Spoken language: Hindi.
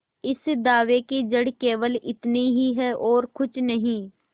इस दावे की जड़ केवल इतनी ही है और कुछ नहीं